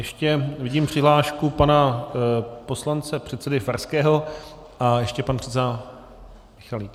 Ještě vidím přihlášku pana poslance předsedy Farského a ještě pan předseda Michalík.